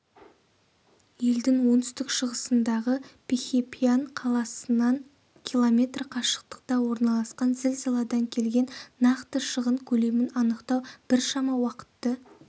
елдің оңтүстік-шығысындағы пихихьяпан қаласынан км қашықтықта орналасқан зілзаладан келген нақты шығын көлемін анықтау біршама уақытты